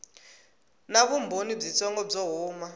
na vumbhoni byitsongo byo huma